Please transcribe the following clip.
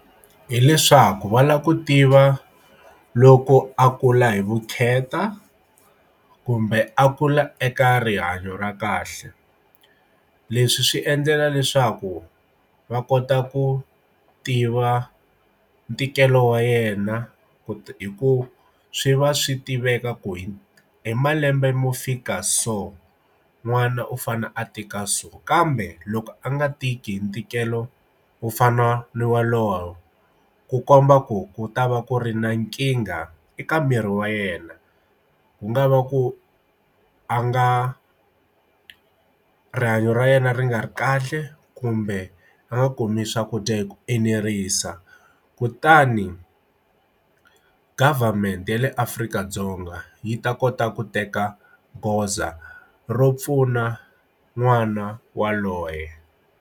Hi leswaku va lava ku tiva loko a kula hi vukheta kumbe a kula eka rihanyo ra kahle leswi swi endlela leswaku va kota ku tiva ntikelo kha wa yena ku hi ku swi va swi tiveka kwini i malembe mo fika so n'wana u fane a tika so kambe loko a nga tiki hi ntikelo wo fana na wa lowa ku komba ku ku ta va ku ri na nkingha eka miri wa yena wu nga va ku a nga rihanyo ra yena ri nga ri kahle kumbe a nga kumi swakudya dya hi ku enerisa kutani government ya le Afrika-Dzonga yi ta kota ku teka goza ro pfuna n'wana waloye.